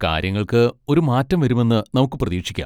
കാര്യങ്ങൾക്ക് ഒരു മാറ്റം വരുമെന്ന് നമുക്ക് പ്രതീക്ഷിക്കാം.